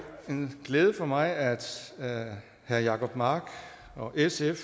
en glæde for mig at herre jacob mark og sf